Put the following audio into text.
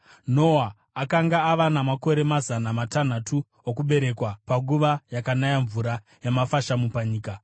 Noa akanga ava namakore mazana matanhatu okuberekwa panguva yakanaya mvura yamafashamu panyika.